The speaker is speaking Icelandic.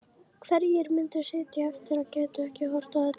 Hverjir myndu sitja eftir og gætu ekki horft á þetta?